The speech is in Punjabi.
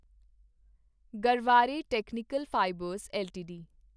Garware technical fibres LTD